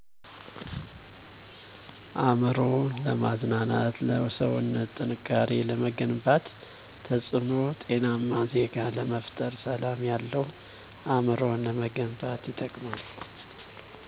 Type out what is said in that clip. አእምሮ ለማዝናናት ለሰዉነት ጥንካሬ ለመገንባት ተፅእኖዉ ጤናማ ዜጋ ለመፍጠር ሰላም ያለዉ አእምሮ ለመገንባት ይጠቅማል